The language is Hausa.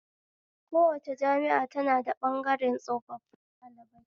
Kowace jami'a tana da ɓabgaren tsofafin ɗalibai